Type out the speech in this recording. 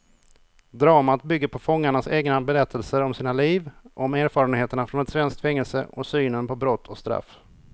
Dramat bygger på fångarnas egna berättelser om sina liv, om erfarenheterna från ett svenskt fängelse och synen på brott och straff.